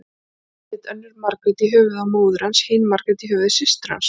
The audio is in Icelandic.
Hét önnur Margrét í höfuðið á móður hans, hin Margrét í höfuð systur hans.